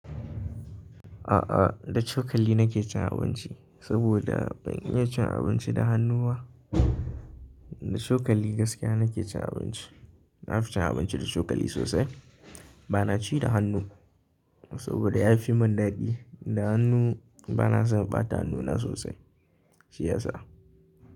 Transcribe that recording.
A'a, da cokali nake cin abinci saboda ban iya cin abinci da hannu ba. Da cokali gaskiya nake cin abinci. Na fi cin abinci da cokali sosai. Ba na ci da hannu saboda ya fi mun daɗi. Da hannu bana son ɓata hannuna sosai, shi yasa.